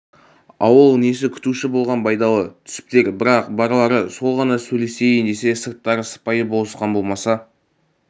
ауыл несі күтуші болған байдалы түсіптер бірақ барлары сол ғана сөйлесейін десе сырттары сыпайы болысқан болмаса